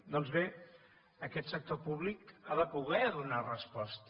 doncs bé aquest sector públic ha de poder donar resposta